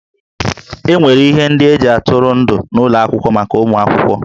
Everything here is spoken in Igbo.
E nwere ihe ndị e ji atụrụ ndụ n'ụlọ akwụkwọ maka ụmụ akwụkwọ